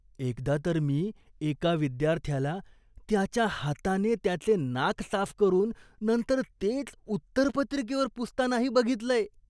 एकदा तर मी एका विद्यार्थ्याला त्याच्या हाताने त्याचे नाक साफ करून नंतर तेच उत्तरपत्रिकेवर पुसतानाही बघितलंय.